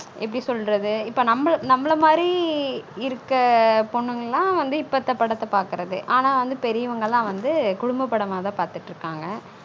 எப்டி சொல்றது இப்ப நம்மல மாதிரி இருக்க பொன்னுங்களான் வந்து இப்ப இந்த படத்த பாக்குரது ஆனா வந்து பெரியவங்க எல்லாம் வந்து குடும்ப படமா தான் பாத்துட்டு இருகாங்க